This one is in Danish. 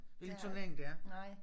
Hvilke turnering det er